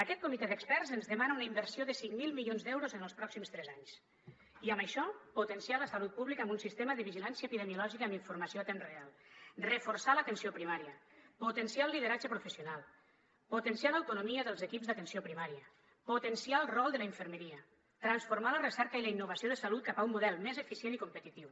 aquest comitè d’experts ens demana una inversió de cinc mil milions d’euros en els pròxims tres anys i amb això potenciar la salut pública amb un sistema de vigilància epidemiològica amb informació a temps real reforçar l’atenció primària potenciar el lideratge professional potenciar l’autonomia dels equips d’atenció primària potenciar el rol de la infermeria transformar la recerca i la innovació de salut cap a un model més eficient i competitiu